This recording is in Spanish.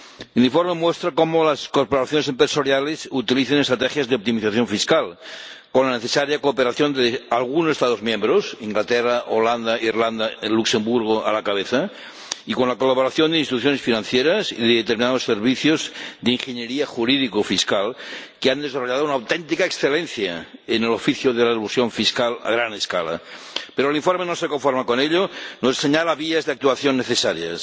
El informe muestra cómo las corporaciones empresariales utilizan estrategias de optimización fiscal, con la necesaria cooperación de algunos Estados miembros —con el Reino Unido, los Países Bajos, Irlanda y Luxemburgo a la cabeza— y con la colaboración de instituciones financieras y de determinados servicios de ingeniería jurídico fiscal que han desarrollado una auténtica excelencia en el oficio de la elusión fiscal a gran escala. Pero el informe no se conforma con ello y nos señala vías de actuación necesarias